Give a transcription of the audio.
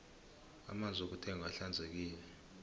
amanzi wokuthengwa ahlanzekile